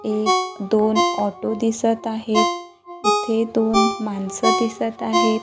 एक दोन ऑटो दिसतं आहेत इथे दोन माणसं दिसतं आहेत.